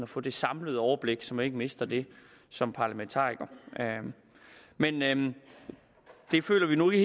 få det samlede overblik så man ikke mister det som parlamentariker men men det føler vi nu i